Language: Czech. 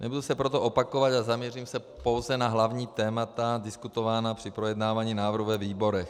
Nebudu se proto opakovat a zaměřím se pouze na hlavní témata diskutovaná při projednávání návrhu ve výborech.